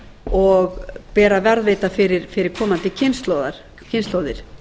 og ber að varðveita fyrir komandi kynslóðir